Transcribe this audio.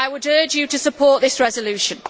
I would urge you to support this resolution.